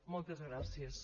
moltes gràcies